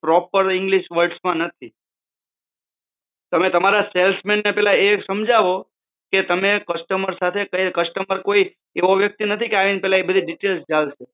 proper English words તો નથી તમે તમારા સેલ્સમેનને પહેલાં એ સમજાવો કે તમે કસ્ટમર સાથે કંઈ રીતે વાત કરવી